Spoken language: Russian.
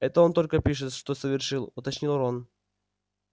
это он только пишет что совершил уточнил рон